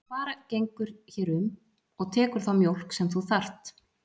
Og bara gengur hér um og tekur þá mjólk sem þú þarft.